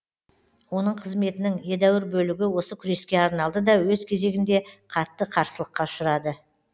оның қызметінің едәуір бөлігі осы күреске арналды да өз кезегінде қатты қарсылыққа ұшырады